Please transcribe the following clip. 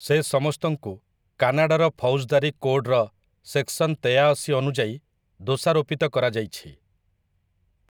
ସେସମସ୍ତଙ୍କୁ କାନାଡାର ଫୌଜଦାରୀ କୋଡ୍‌ର ସେକ୍‌ସନ ତେୟାଅଶୀ ଅନୁଯାୟୀ ଦୋଷାରୋପିତ କରାଯାଇଛି ।